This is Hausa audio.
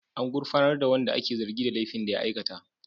An gurfanar da wanda ake zargi da laifin da ya aikata.